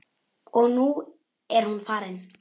Og nú er hún farin.